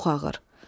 Çox ağır.